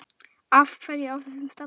Af hverju á þessum stalli?